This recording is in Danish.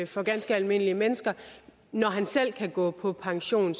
for ganske almindelige mennesker når han selv kan gå på pension